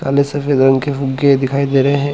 काले सफेद रंग के फुग्गे दिखाई दे रहे है।